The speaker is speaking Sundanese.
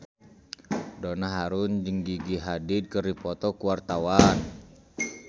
Donna Harun jeung Gigi Hadid keur dipoto ku wartawan